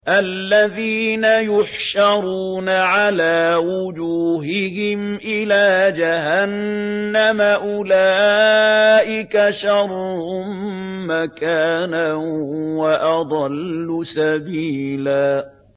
الَّذِينَ يُحْشَرُونَ عَلَىٰ وُجُوهِهِمْ إِلَىٰ جَهَنَّمَ أُولَٰئِكَ شَرٌّ مَّكَانًا وَأَضَلُّ سَبِيلًا